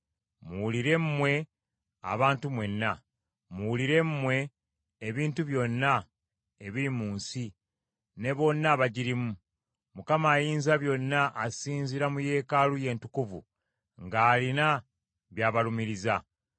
Muwulire mmwe abantu mwenna, muwulire mmwe ebintu byonna ebiri mu nsi, ne bonna abagirimu, Mukama Ayinzabyonna asinziira mu yeekaalu ye entukuvu, ng’alina by’abalumiriza.